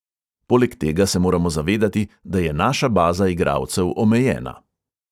Poleg tega se moramo zavedati, da je naša baza igralcev omejena.